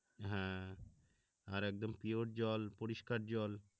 হ্যা আর একদম পিওর জল পরিষ্কার জল